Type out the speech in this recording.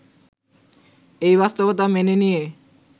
এই বাস্তবতা মেনে নিয়ে